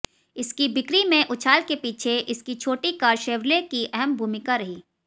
इसकी बिक्री में उछाल के पीछे इसकी छोटी कार शेव्रले की अहम भूमिका रही